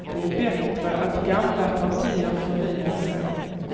Det är bättre att gamla partier förnyar sig.